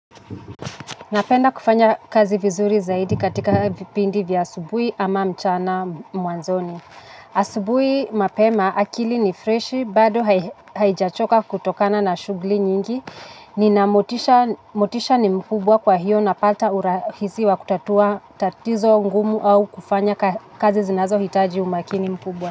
Napenda kufanya kazi vizuri zaidi katika vipindi vya asubuhi ama mchana mwanzoni. Asubuhi mapema akili ni freshi bado haijachoka kutokana na shughuli nyingi. Nina motisha ni mkubwa kwa hiyo na pata urahisi wa kutatua tatizo ngumu au kufanya kazi zinazo hitaji umakini mkubwa.